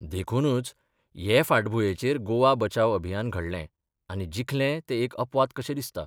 देखूनच हे फाटभुंयेचेर गोवा बचाव अभियान घडलें आनी जिखलें तें एक अपवाद कशें दिसता.